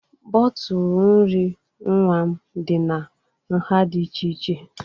Bọtụl nri nwa m dị na nha dị iche iche